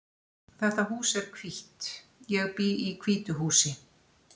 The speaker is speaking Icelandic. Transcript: Þetta hús er hvítt. Ég bý í hvítu húsi.